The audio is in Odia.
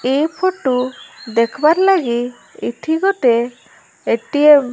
ଏ ଫଟୋ ଦେଖିବାର ଲାଗି ଏଠି ଗୋଟେ ଏଟିଏମ --